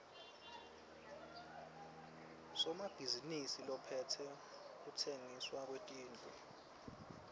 somabhizinisi lophetse kutsengiswa kwetindlu